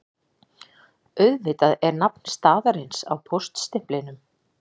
Auðvitað er nafn staðarins á póststimplinum